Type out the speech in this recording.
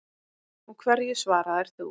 Og hverju svaraðir þú?